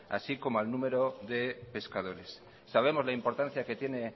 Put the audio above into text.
así como al número de pescadores sabemos la importancia que tiene